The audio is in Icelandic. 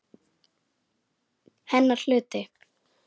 Hennar hluti.